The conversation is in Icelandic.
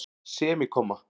semíkomma